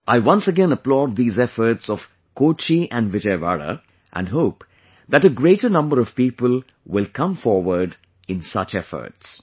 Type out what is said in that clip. I once again applaud these efforts of Kochi and Vijayawada and hope that a greater number of people will come forward in such efforts